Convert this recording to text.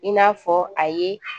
I n'a fɔ a ye